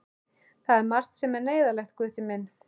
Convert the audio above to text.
Það er margt sem er neyðarlegt, Gutti minn.